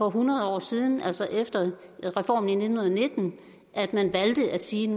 hundrede år siden altså efter reformen i nitten nitten at man valgte at sige